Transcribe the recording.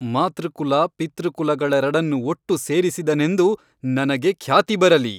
ಮಾತೃಕುಲ ಪಿತೃಕುಲಗಳೆರಡನ್ನು ಒಟ್ಟು ಸೇರಿಸಿದನೆಂದು ನನಗೆ ಖ್ಯಾತಿ ಬರಲಿ.